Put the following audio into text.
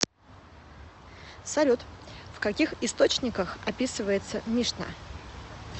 салют в каких источниках описывается мишна